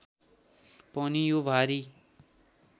पनि यो भारी